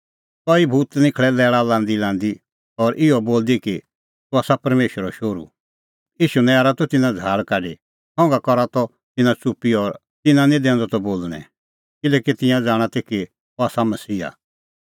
कई भूत निखल़ै लैल़ा लांदीलांदी और इहअ बोलदी कि तूह आसा परमेशरो शोहरू ईशू नैरा त तिन्नां झ़ाहल़ काढी संघा करा त तिन्नां च़ुप्पी और तिन्नां निं दैंदअ त बोल़णैं किल्हैकि तिंयां ज़ाणा ती कि अह आसा मसीहा